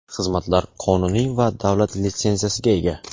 Xizmatlar qonuniy va davlat litsenziyasiga ega!.